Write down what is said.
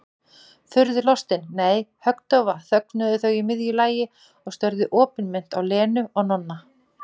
Furðulostin, nei, höggdofa þögnuðu þau í miðju lagi og störðu opinmynnt á Lenu og Nonna.